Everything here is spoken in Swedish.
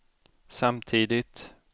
samtidigt